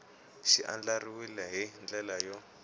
xi andlariwile hi ndlela yo